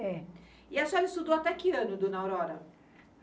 É. E a senhora estudou até que ano, dona Aurora?